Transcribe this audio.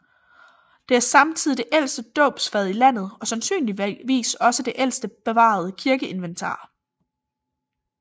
Det er samtidig det ældste dåbsfad i landet og sandsynligvis også det ældste bevarede kirkeinventar